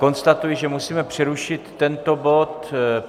Konstatuji, že musíme přerušit tento bod.